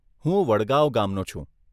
હું વડગાંવ ગામનો છું.